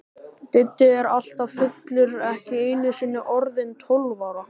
Diddi er alltaf fullur, ekki einusinni orðinn tólf ára.